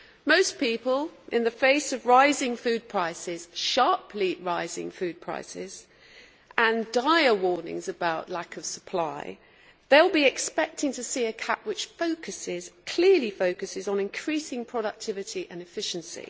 Most people, in the face of rising food prices sharply rising food prices and dire warnings about lack of supply, will be expecting to see a CAP which focuses clearly on increasing productivity and efficiency.